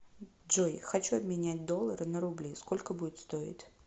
джой хочу обменять доллары на рубли сколько будет стоить